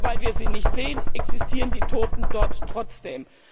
Und nur, weil wir sie nicht sehen, existieren die Toten dort trotzdem.